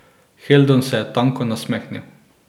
Heldon se je tanko nasmehnil.